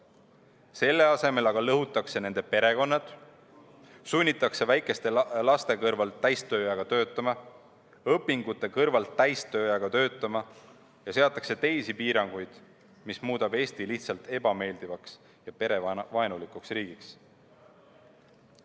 Selle asemel aga lõhutakse nende perekonnad, sunnitakse väikeste laste kõrvalt täistööajaga töötama ja õpingute kõrvalt täistööajaga töötama ja seatakse teisi piiranguid, mis muudab Eesti lihtsalt ebameeldivaks ja perevaenulikuks riigiks.